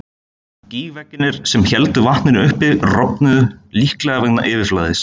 Gígveggirnir sem héldu vatninu uppi, rofnuðu, líklega vegna yfirflæðis.